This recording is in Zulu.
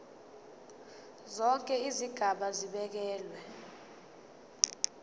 zonke izigaba zibekelwe